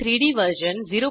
gchem3डी वर्जन 01210